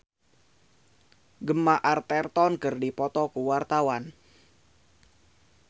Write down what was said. Aryani Fitriana jeung Gemma Arterton keur dipoto ku wartawan